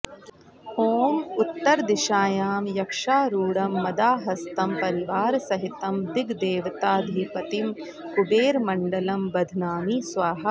ॐ उत्तरदिशायां यक्षारुढं मदाहस्तं परिवारसहितं दिग्देवताधिपतिं कुबेरमण्डलं बध्नामि स्वाहा